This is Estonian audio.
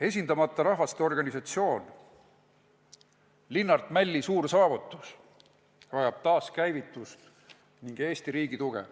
Esindamata Rahvaste Organisatsioon, Linnart Mälli suur saavutus, vajab taaskäivitust ning Eesti riigi tuge.